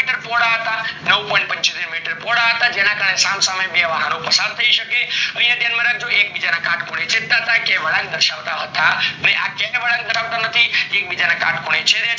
કેટલા મીટર પહોળા હતા નવ point પીન્ચોતેર મીટર પોલા હતા જેનના કરને સમ સામે બે વાહનો પસાર થય શકે અને એ ધ્યાન રાખજો એક બીજા ના કટ ખૂણે માત્લતા હતા ક્યાય વળાંક દર્શાવતા હતા નાય, આ ક્યાય વળાંક ધરાવતા નથી એક બીજા ને કાટ ખૂણે મળતા હતા